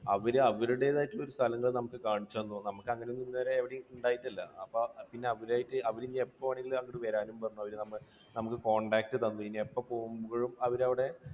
അവർ അവരുടേതായിട്ടുള്ള സ്ഥലങ്ങൾ നമുക്ക് കാണിച്ചു തന്നു. നമുക്ക് അങ്ങനെയൊന്നും ഇതുവരെ എവിടെയും ഉണ്ടായിട്ടില്ല. അപ്പോൾ പിന്നെ അവരുമായിട്ട് അവരിനി എപ്പോഴാണെങ്കിലും അങ്ങോട്ട് വരാനും പറഞ്ഞു. നമുക്ക് contact തന്നു. ഇനി എപ്പോൾ പോകുമ്പോഴും അവരവിടെ